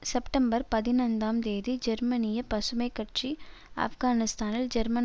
September பதினைந்தாம் தேதி ஜெர்மனிய பசுமை கட்சி ஆப்கானிஸ்தானில் ஜெர்மன்